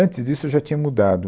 Antes disso, eu já tinha mudado.